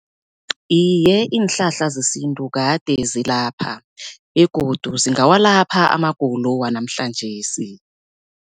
Iye, iinhlahla zesintu kade zilapha begodu zingawalapha amagulo wanamhlanjesi.